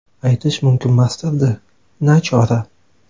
Aytish mumkinmasdir-da , nachora.